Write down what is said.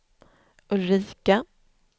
Ulrika